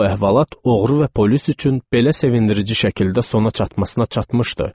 Bu əhvalat oğru və polis üçün belə sevindirici şəkildə sona çatmasına çatmışdı.